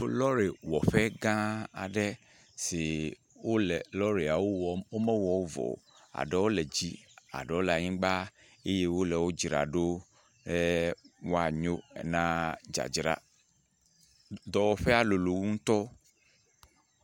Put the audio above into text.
Lɔrewɔƒegã aɖe si wole lɔreawo wɔm, womewɔwo vɔ o. Aɖewo le dzi, aɖewo le anyigba eye wole wo dzra ɖo ɛɛɛ woanyo na dzadzra. Dɔwɔƒea lolo ŋutɔ.